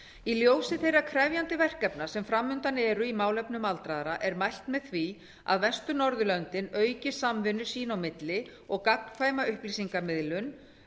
í ljósi þeirra krefjandi verkefna sem fram undan eru í málefnum aldraðra er mælt með því að vestur norðurlöndin auki samvinnu sín á milli og gagnkvæma upplýsingamiðlun